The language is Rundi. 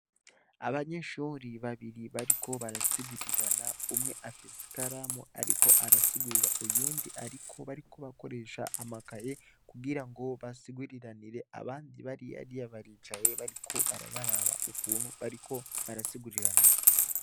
Abanyeshuri babiri bariko barasigurirana umwe afisi kalamu, ariko arasigurira uyundi, ariko bariko bakoresha amakaye kugira ngo basiguriranire abandi bari yariya baricaye bariko barabaraba ukuntu bariko barasiguriranira.